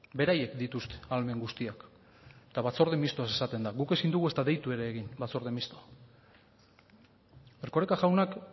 beraiek dituzte ahalmen guztiak eta batzorde misto esaten da guk ezin dugu eta ez deitu ere egin batzorde misto erkoreka jaunak